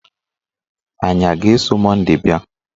Anyị a ga-eso Monday bịa?